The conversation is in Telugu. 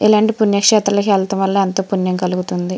ఇలాంటి పుణ్య క్షేత్రం లోకి వెలటం వలన ఎంతో పుణ్యము వస్తుంది.